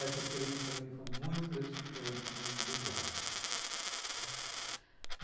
Essa experiência, para mim, foi muito gratificante de dublagem, tá.